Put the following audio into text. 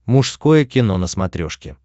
мужское кино на смотрешке